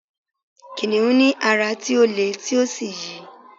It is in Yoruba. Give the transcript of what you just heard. kìnìún ní ara ti o le ti o sí yi